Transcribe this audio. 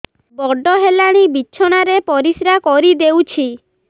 ବଡ଼ ହେଲାଣି ବିଛଣା ରେ ପରିସ୍ରା କରିଦେଉଛି